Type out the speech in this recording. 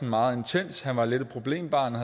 meget intens han var lidt et problembarn og